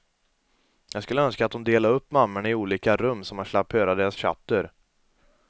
Jag skulle önska att de delade upp mammorna i olika rum så man slapp höra deras tjatter.